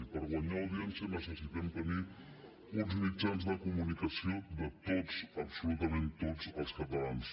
i per guanyar audiència necessitem tenir uns mitjans de comunicació de tots absolutament tots els catalans